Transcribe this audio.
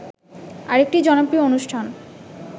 আরেকটি জনপ্রিয় অনুষ্ঠান